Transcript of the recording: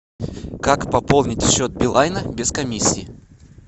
как пополнить счет билайна без комиссии